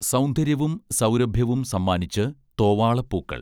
സൗന്ദര്യവും സൗരഭ്യവും സമ്മാനിച്ച് തോവാളപ്പൂക്കൾ